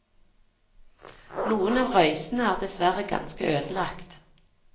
Noen av røysene er dessverre ganske ødelagt.